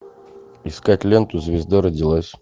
искать ленту звезда родилась